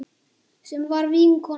Sem var vinkona mín.